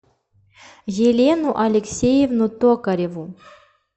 елену алексеевну токареву